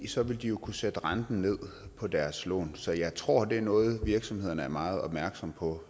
så ville de jo kunne sætte renten ned på deres lån så jeg tror at det er noget virksomhederne selv er meget opmærksomme på